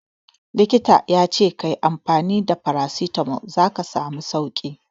Likita ta ce ka yi amfani da Paracetamol za ka samu sauki.